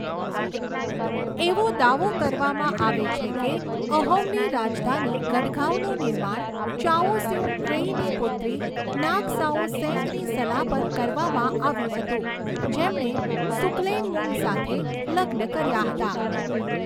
એવો દાવો કરવામાં આવે છે કે અહોમની રાજધાની ગઢગાંવનું નિર્માણ ચાઓ સિઉ ક્વેઈની પુત્રી નાગ સાઓ સેંગની સલાહ પર કરવામાં આવ્યું હતું, જેમણે સુકલેનમુંગ સાથે લગ્ન કર્યા હતા.